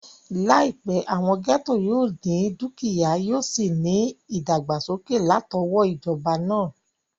Láìpẹ́, àwọn gẹ́ẹ́tò yóò ní dúkìyá, yóò sì ní ìdàgbàsókè látọwọ́ ìjọba náà